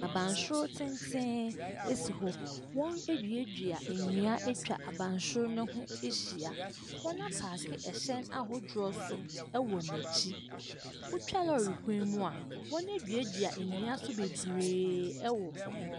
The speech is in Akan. Abansoro tenten si hɔ. Waduedua nnua atwa abansoro no ho ahyia. Wɔde wɔn ɛhyɛn ahodoɔ nso wɔ n'akyi. Wotwa lɔre kwan mu a,wɔaduedua nnua nso bebree wɔ hɔ.